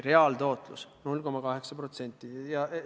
Reaalne tootlus on 0,8%!